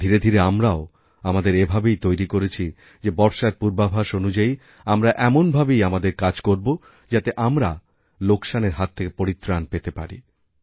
ধীরে ধীরে আমরাও আমাদের এভাবেই তৈরি করেছি যেবর্ষার পূর্বাভাস অনুযায়ী আমরা এমনভাবেই আমাদের কাজ করব যাতে আমরা লোকসানের হাতথেকে পরিত্রাণ পেতে পারি